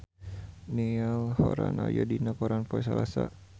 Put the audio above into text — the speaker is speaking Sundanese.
Niall Horran aya dina koran poe Salasa